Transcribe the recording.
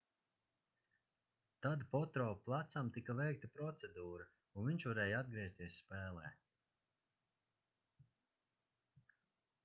tad potro plecam tika veikta procedūra un viņš varēja atgriezties spēlē